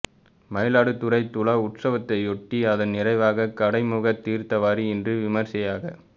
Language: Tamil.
மயிலாடுதுறை துலா உத்ஸவத்தையொட்டி அதன் நிறைவாக கடைமுக தீா்த்தவாரி இன்று விமரிசையாக